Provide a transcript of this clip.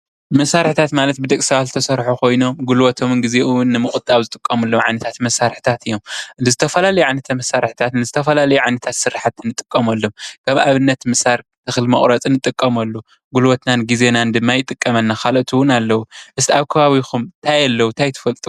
መሳርሕታት ማለት ብደቂ ሰባት ተሰርሑ ኮይኖም ጉልበቶምን ግዚኦምን ንምቁጣብ ዝጥቀሙሉ ዓይነታት መሳርሕታት እዮም ብዝተፈላለዩ ዓይነታት መሳርሕታት ንዝተፈላለዩ ዓይነታት ስራሕቲ ንጥቀመሎም ከም ኣብነት ምሳር እኽሊ መቁረፂ ንጥቀመሉ ግልቦትናን ግዜናን ድማ ይጠቅመና ካልኦት እውን ኣለው ። እስኪ ኣብ ከባቢኹም ታይ ኣለው ታይ ትፈልጡ?